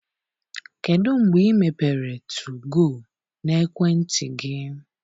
Kedụ mgbe i mepere 2go n'ekwentị gị?